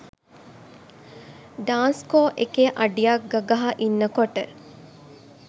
ඩාන්ස්කෝ එකේ අඩියක් ගගහා ඉන්නකොට